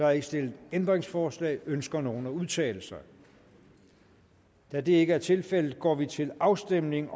er ikke stillet ændringsforslag ønsker nogen at udtale sig da det ikke er tilfældet går vi til afstemning